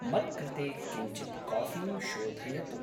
मत्कृते किंचित् काफ़ीं शोधयतु।